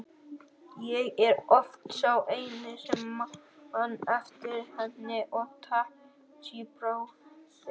Ég er oft sá eini sem man eftir henni og Takashi bróðir.